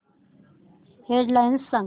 head lines सांग